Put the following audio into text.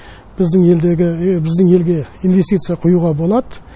біздің елдегі біздің елге инвестиция құюға болады